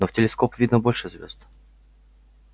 но в телескоп видно больше звёзд